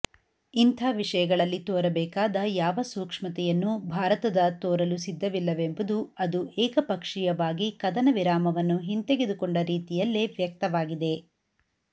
ಇಂಥಾ ವಿಷಯಗಳಲ್ಲಿ ತೋರಬೇಕಾದ ಯಾವ ಸೂಕ್ಷ್ಮತೆಯನ್ನೂ ಭಾರತದ ತೋರಲು ಸಿದ್ಧವಿಲ್ಲವೆಂಬುದು ಅದು ಏಕಪಕ್ಷೀಯವಾಗಿ ಕದನ ವಿರಾಮವನ್ನು ಹಿಂತೆಗೆದುಕೊಂಡ ರೀತಿಯಲ್ಲೇ ವ್ಯಕ್ತವಾಗಿದೆ